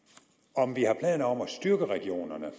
om vi har planer om at styrke regionerne